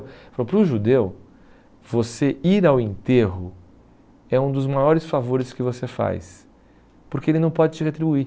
Ele falou, para o judeu, você ir ao enterro é um dos maiores favores que você faz, porque ele não pode te retribuir.